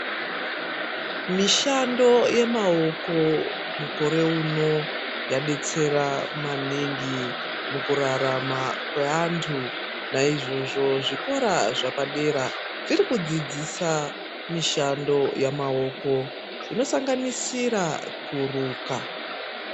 Mishando yemaoko mukore uno yadetsera maningi mukurarama kweantu naizvozvo zvikora zvepadera zviri kudzidzisa mishando yamaoko inosanganisira kuruka.